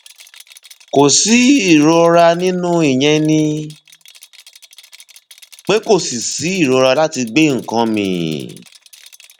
kò sí ìrora ní inú ìyẹn ni pé kò sí sí ìrora láti gbé nǹkan mì